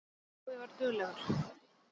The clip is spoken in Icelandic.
Jói var duglegur.